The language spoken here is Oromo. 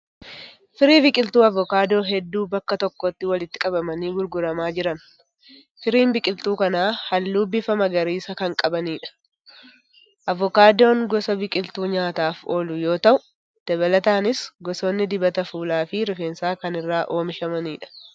Firii biqiltuu avukaadoo hedduu bakka tokkotti walitti qabamanii gurguramaa jiran. Firiin biqiltuu kanaa halluu bifa magariisa kan qabanidha. Avukaadoon gosa biqiltuu nyaataaf oolu yoo ta'u, dabalataanis gosoonni dibata fuulaa fi rifeensaa kan irraa oomishamanidha.